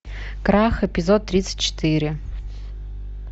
крах эпизод тридцать четыре